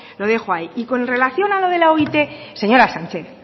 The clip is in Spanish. lo dejo ahí y con relación a lo de la oit señora sánchez